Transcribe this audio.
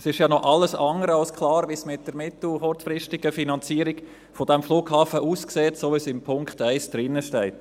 Es ist ja noch alles andere als klar, wie es mit der mittel- und kurzfristigen Sanierung des Flughafens aussieht, so wie es in Punkt 1 steht.